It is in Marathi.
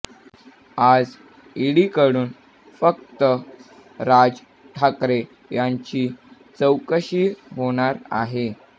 आज ईडीकडून फक्त राज ठाकरे यांची चौकशी होणार आहे